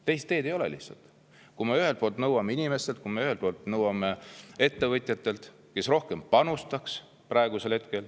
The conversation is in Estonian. Teist teed lihtsalt ei ole, kui me nõuame inimestelt ja ettevõtjatelt, et nad praegu rohkem panustaks.